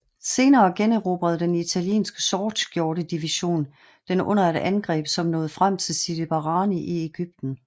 Senere generobrede den italienske Sortskjorte division den under et angreb som nåede frem til Sidi Barrani i Egypten